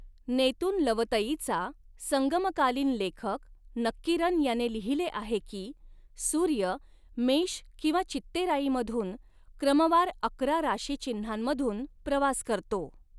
नेतुनलवतईचा संगमकालीन लेखक नक्कीरन याने लिहिले आहे की, सूर्य मेष किंवा चित्तेराईमधून क्रमवार अकरा राशीचिन्हांमधून प्रवास करतो.